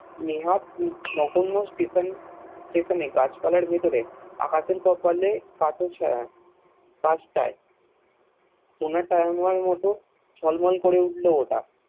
নেহাত নগণ্য Station এ গাছপালার ভেতরে আকাশের কপালে পাস টায় কোনটাই মত ঝলমল করে উঠল ওটা